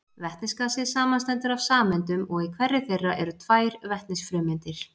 Vetnisgasið samanstendur af sameindum og í hverri þeirra eru tvær vetnisfrumeindir.